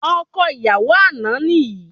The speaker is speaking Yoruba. Ọkọ ìyàwó àná ni yìí